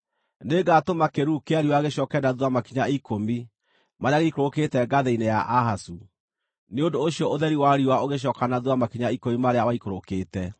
Nĩngatũma kĩĩruru kĩa riũa gĩcooke na thuutha makinya ikũmi marĩa gĩikũrũkĩte ngathĩ-inĩ ya Ahazu.’ ” Nĩ ũndũ ũcio ũtheri wa riũa ũgĩcooka na thuutha makinya ikũmi marĩa waikũrũkĩte.